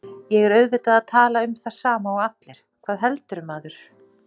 Verkanir mishita, frosts, úrkomu, vatnsfalla, jökla, vinds og öldugangs eru af útrænum uppruna.